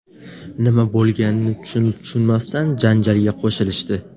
Nima bo‘lganini tushunib-tushunmasdan janjalga qo‘shilishdi.